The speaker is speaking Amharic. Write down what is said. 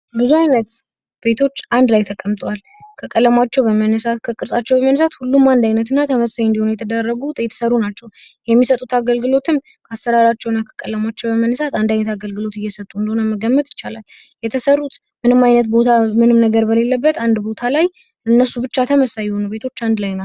ብዙ ዓይነት ቤቶች አንድ ላይ ተቀምጧል። ከ ቀለማቸው በመነሳት ከቅርጻቸው በመነሳት ሁሉም አንድ አይነት እና ተመሳሳይ እንደሆነ የተደረጉት የተሠሩ ናቸው። የሚሰጡት አገልግሎት አሰራራቸውን ቀለማቸው በመነሳት አንድ አይነት አገልግሎት እየሰጡ እንደሆነ መገመት ይቻላል። የተሰሩት ምንም ዓይነት ቦታ ምንም ነገር በሌለበት አንድ ቦታ ላይ እነሱ ብቻ ተመሳሳይ ቤቶች አንድ ላይ ነው።